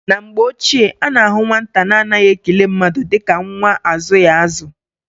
Na mgbe ochie, a na-ahụ nwata na-anaghị ekele mmadụ dịka nwa azụghị azụ.